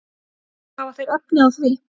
Hafa þeir efni á því?